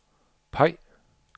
peg